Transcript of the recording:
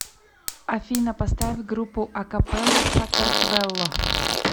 афина поставь группу акапелла сакартвелло